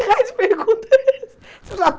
Que raio de pergunta é essa? Se eu já